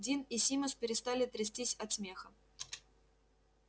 дин и симус перестали трястись от смеха